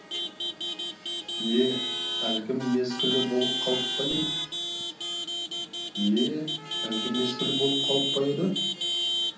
е әлгі мезгілі болып қалып па еді е әлгі мезгілі болып қалып па еді